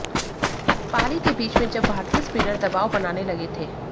पारी के बीच में जब भारतीय स्पिनर दबाव बनाने लगे थे